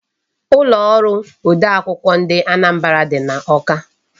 Ulo oru ode akwukwo ndị Anambra dị n'Awka.